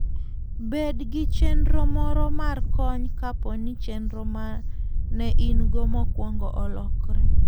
Bed gi chenro moro mar kony kapo ni chenro ma ne in-go mokwongo olokore.